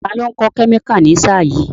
Ta ló ń kọ́ kẹ́míkà ní sáà yìí?